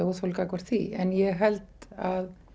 óþol gagnvart því en ég held að